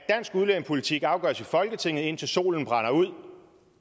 udlændingepolitik afgøres i folketinget indtil solen brænder ud